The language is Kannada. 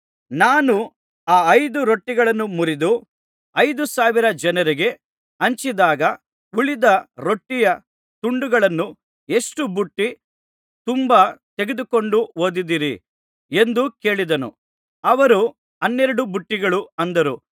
ನಾನು ಆ ಐದು ರೊಟ್ಟಿಗಳನ್ನು ಮುರಿದು ಐದು ಸಾವಿರ ಜನರಿಗೆ ಹಂಚಿಸಿದಾಗ ಉಳಿದ ರೊಟ್ಟಿಯ ತುಂಡುಗಳನ್ನು ಎಷ್ಟು ಬುಟ್ಟಿ ತುಂಬಾ ತೆಗೆದುಕೊಂಡು ಹೋದಿರಿ ಎಂದು ಕೇಳಿದನು ಅವರು ಹನ್ನೆರಡು ಬುಟ್ಟಿಗಳು ಅಂದರು